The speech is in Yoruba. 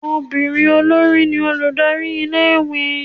obírín olori ní olùdarí ilé ìwé